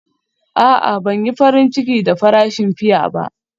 A'a, Ban yi farin ciki da farashin fiya ba.